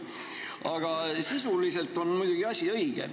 Aga sisuliselt on muidugi asi õige.